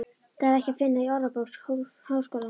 Það er ekki að finna í Orðabók Háskólans.